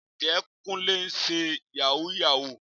Ǹjẹ́ Kúnlé ń ṣe Yàhooyahoo?